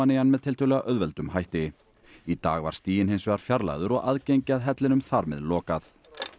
í hann með tiltölulega auðveldum hætti í dag var stiginn hins vegar fjarlægður og aðgengi að hellinum þar með lokað